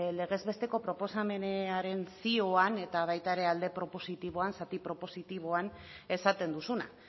legez besteko proposamenaren zioan eta baita ere alde propositiboan zati propositiboan esaten duzuna